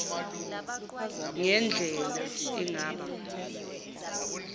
ngen dlela engaba